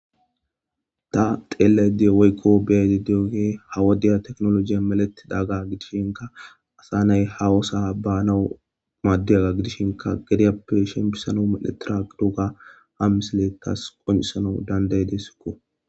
ta xeella dee waykko beyai deoge hawadiya teknolojiya meletidaga gidishinka asa nay hawosa baanawu maaddedaga gidishinka gedeyappe shempisano miletira qidoga ha misleekas qoncisanau dandaye deessikko